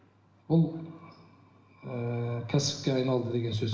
бұл ыыы кәсіпке айналды деген сөз